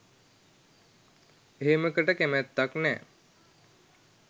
එහෙමකට කැමැත්තක් නෑ.